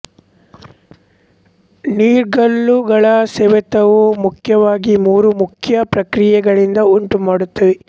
ನೀರ್ಗಲ್ಲುಗಳ ಸವೆತವು ಮುಖ್ಯವಾಗಿ ಮೂರು ಮುಖ್ಯ ಪ್ರಕ್ರಿಯೆಗಳಿಂದ ಉಂಟು ಮಾಡುತ್ತವೆ